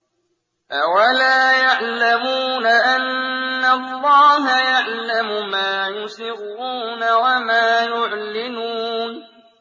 أَوَلَا يَعْلَمُونَ أَنَّ اللَّهَ يَعْلَمُ مَا يُسِرُّونَ وَمَا يُعْلِنُونَ